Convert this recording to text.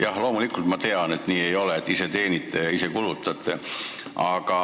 Jah, loomulikult ma tean, et see ei ole nii, et ise teenite ja ise kulutate.